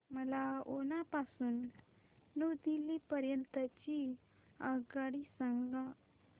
मला उना पासून न्यू दिल्ली पर्यंत ची आगगाडी सांगा